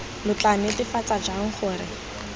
lo tla netefatsa jang gore